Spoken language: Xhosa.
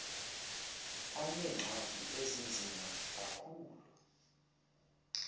aneengxaki ezinzima kakhulu